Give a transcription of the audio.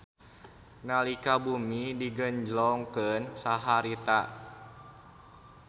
Nalika bumi digenjlongkeun saharita